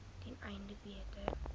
ten einde beter